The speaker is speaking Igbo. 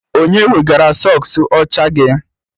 Onye wegara sọks ọcha gị?